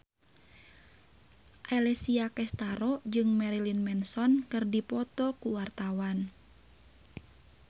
Alessia Cestaro jeung Marilyn Manson keur dipoto ku wartawan